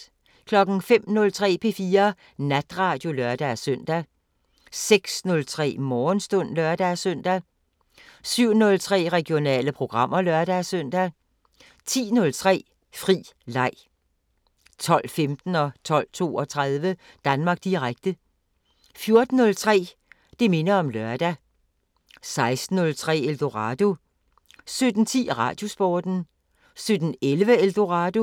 05:03: P4 Natradio (lør-søn) 06:03: Morgenstund (lør-søn) 07:03: Regionale programmer (lør-søn) 10:03: Fri leg 12:15: Danmark Direkte 12:32: Danmark Direkte 14:03: Det minder om lørdag 16:03: Eldorado 17:10: Radiosporten 17:11: Eldorado